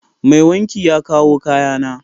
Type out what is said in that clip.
Mai wanki ya kawo kayana.